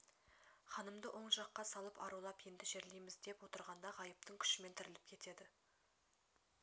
ханымды оң жаққа салып арулап енді жерлейміз деп отырғанда ғайыптың күшімен тіріліп кетеді